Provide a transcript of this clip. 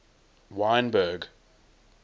wynberg